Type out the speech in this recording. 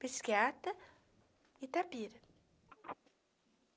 psiquiatra Itapira